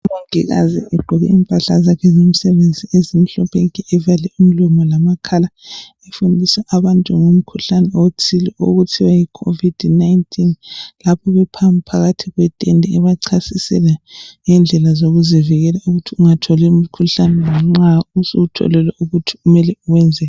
Umongikazi egqoke impahla zakhe zomsebenzi ezimhlophe nke evale umlomo lamakhala efundisa abantu ngomkhuhlane othile okuthiwa yicovid 19 lapha phamu bephakathi kwetende ebachasisela ngendlela zokuzivikela ukuthi ungatholi umkhuhlane nxa usuwutholile ukuthi umele uwenzeni.